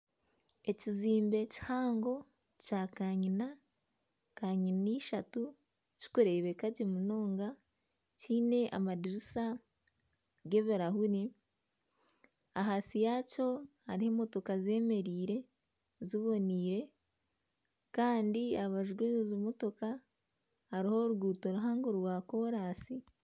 Ekizimbe kihango kya kanyina ,kanyina ishatu ,kirikureebekagye munonga ,kiine amadirisa g'ebirahure ahansi yaakyo hariho emotoka ziboneire zemereire Kandi aha rubaju rwezo motoka hariho oruguuto ruhango rwa kolansi